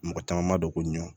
Mɔgɔ caman ma dɔn ko ɲun